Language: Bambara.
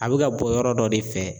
A bɛ ka bɔ yɔrɔ dɔ de fɛ.